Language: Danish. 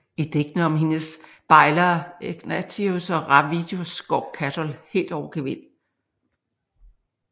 I digtene om hendes bejlere Egnatius og Ravidus går Catul helt over gevind